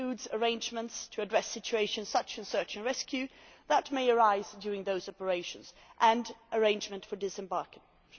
It includes arrangements to address situations such as search and rescue that may arise during those operations and arrangements for disembarkation.